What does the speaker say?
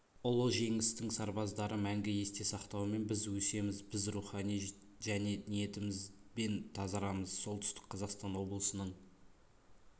ұлы жеңістің сарбаздарды мәңгі есте сақтаумен біз өсеміз біз рухани және ниетімізбен тазарамыз солтүстік қазақстан облысының